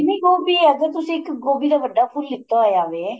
ਨੀਂ ਗੋਭੀ ਏ ਜੇ ਤੁਸੀਂ ਗੋਭੀ ਦਾ ਇੱਕ ਵੱਡਾ ਫੁੱਲ ਲੀਤਾ ਹੋਇਆ ਵੇ